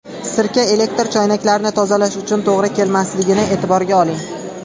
Sirka elektr choynaklarini tozalash uchun to‘g‘ri kelmasligini e’tiborga oling.